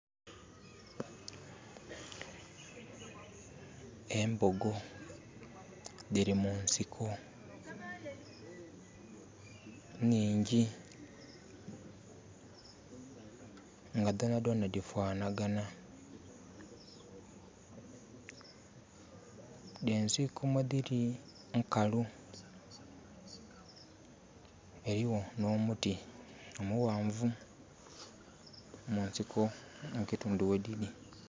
Embogo dhiri mu nsiko nhingi nga dhonadhonha dhifananha. Ensiko mwedhiri nkalu, ghaligho nho muti omughanvu mu nsiko mu kitundhu ghwedhiri.